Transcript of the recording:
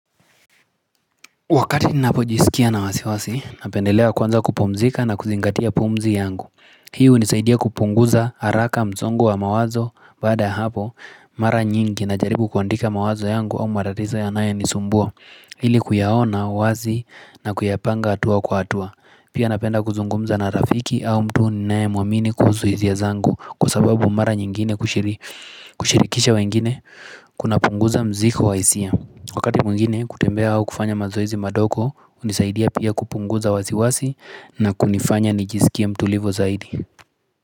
Wakati ninapojisikia na wasiwasi, napendelea kwanza kupumzika na kuzingatia pumzi yangu Hii hunisaidia kupunguza haraka msongo wa mawazo, baada ya hapo, mara nyingi najaribu kuandika mawazo yangu au matatizo yanaye nisumbua ili kuyaona, wazi, na kuyapanga hatua kwa hatua Pia napenda kuzungumza na rafiki au mtu ninae muamini kuhusu hisia zangu Kwa sababu mara nyingine kushirikisha wengine, kuna punguza mzigo wa hisia Wakati mwingine kutembea au kufanya mazoezi madogo hunisaidia pia kupunguza wasiwasi na kunifanya nijisikie mtulivu zaidi.